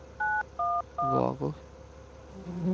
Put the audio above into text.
varer